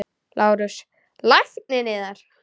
LÁRUS: Lækninn yðar?